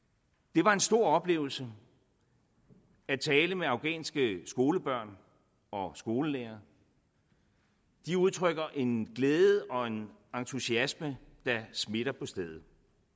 det var en stor oplevelse at tale med afghanske skolebørn og skolelærere de udtrykker en glæde og en entusiasme der smitter på stedet